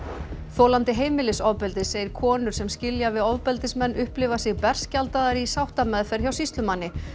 þolandi heimilisofbeldis segir konur sem skilja við ofbeldismenn upplifa sig berskjaldaðar í sáttameðferð hjá sýslumanni